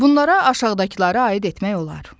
Bunlara aşağıdakılara aid etmək olar.